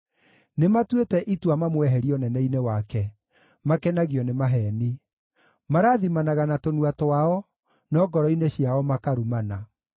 Nĩmatuĩte itua mamweherie ũnene-inĩ wake; makenagio nĩ maheeni. Marathimanaga na tũnua twao, no ngoro-inĩ ciao makarumana.